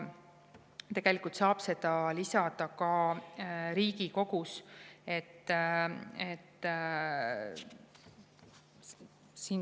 Tegelikult saab seda lisada ka Riigikogus.